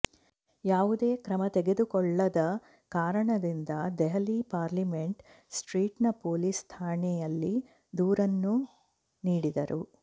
ಯಾವುದೇ ಕ್ರಮ ತೆಗೆದುಕೊಳ್ಳದ ಕಾರಣದಿಂದಾಗಿ ದೆಹಲಿ ಪಾರ್ಲಿಮೆಂಟ್ ಸ್ಟ್ರೀಟ್ನ ಪೊಲೀಸ್ ಠಾಣೆಯಲ್ಲಿ ದೂರನ್ನೂ ನೀಡಿದ್ದರು